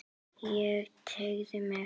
Ég teygði mig.